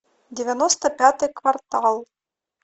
девяносто пятый квартал